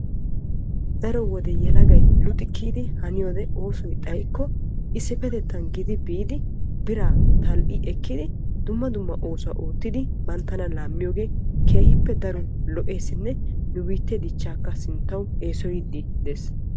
Daro wode yelegay luxi hani simmiyoode oosoy xayikko issippe gidi biidi biraa tal"i ekkidi dumma dumma oosuwaa oottidi banttana laammiyoogee keehippe daro lo"eesinne nu biittee dichchaakka sinttawu sugiidi de'ees.